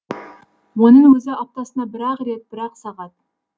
оның өзі аптасына бір ақ рет бір ақ сағат